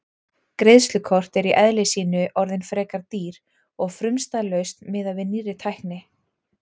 Greiðslukort eru í eðli sínu orðin frekar dýr og frumstæð lausn miðað við nýrri tækni.